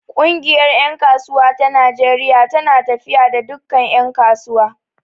Ƙungiyar ƴan kasuwa ta Najeriya tana tafiya da dukkan ƴan kasuwa.